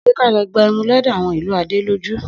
Sẹ kà lọ gbà ẹmú lòdó àwon ìlú Àdẹlòjú?